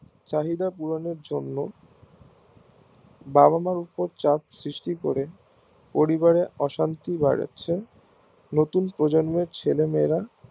চাহিদা পূরণের জন্য বাবা মার্ উপর চাপ সৃষ্টি করে পরিবারে অশান্তি বাড়ে নতুন প্রজন্মের ছেলে মেয়েরা